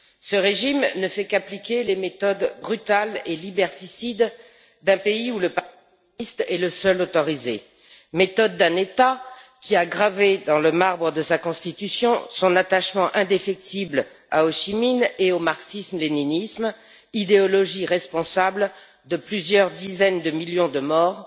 Ce régime ne fait qu'appliquer les méthodes brutales et liberticides d'un pays où le Parti communiste est le seul autorisé méthode d'un État qui a gravé dans le marbre de sa Constitution son attachement indéfectible à Hô Chi Minh et au marxisme léninisme, idéologie responsable de plusieurs dizaines de millions de morts